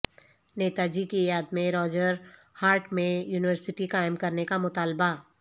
نیتاجی کی یادمیں راجر ہاٹ میں یونیورسٹی قائم کرنے کا مطالبہ